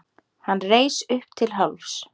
Hann reis upp til hálfs.